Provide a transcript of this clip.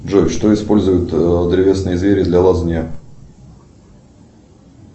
джой что используют древесные звери для лазания